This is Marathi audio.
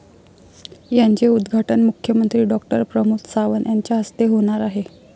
याचे उद्घाटन मुख्यमंत्री डॉ. प्रमोद सावंत यांच्याहस्ते होणार आहे.